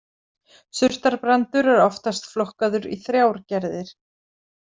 Surtarbrandur er oftast flokkaður í þrjár gerðir.